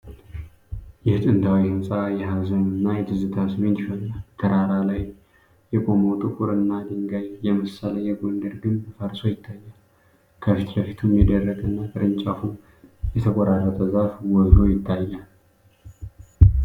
ይህ ጥንታዊ ሕንፃ የሀዘን እና የትዝታ ስሜት ይፈጥራል። በተራራ ላይ የቆመው ጥቁርና ድንጋይ የመሰለ የጎንደር ግንብ ፈርሶ ይታያል፤ ከፊት ለፊቱም የደረቀ እና ቅርንጫፉ የተቆራረጠ ዛፍ ጎልቶ ይታያል።